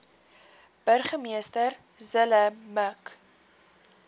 burgemeester zille mik